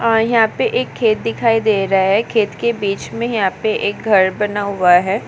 यहाँ पे एक खेत दिखाई दे रहा है खेत के बीच में यहाँ पे एक घर बना हुआ है।